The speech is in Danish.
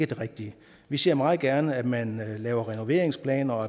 det rigtige vi ser meget gerne at man laver renoveringsplaner og